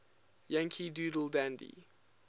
yankee doodle dandy